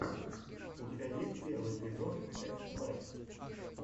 у тебя есть первый эпизод тэст лэб